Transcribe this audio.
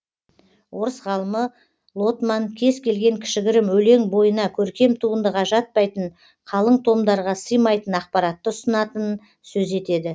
орыс ғалымы лотман кез келген кішігірім өлең бойына көркем туындыға жатпайтын қалың томдарға сыймайтын ақпаратты ұсынатынын сөз етеді